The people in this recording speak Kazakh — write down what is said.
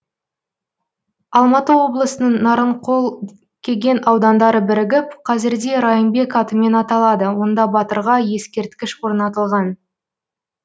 алматы облысының нарынқол кеген аудандары бірігіп қазірде райымбек атымен аталады онда батырға ескерткіш орнатылған